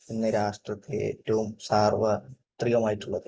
ഇന്നു രാഷ്ട്രത്തിൽ ഏറ്റവും സാർവത്രികമായിട്ടുള്ളത്.